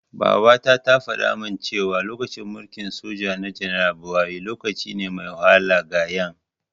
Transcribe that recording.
Babata tana faɗamin cewa, lokacin mulkin soja na janar Buhari, lokaci ne mai wahala ga Ƴan.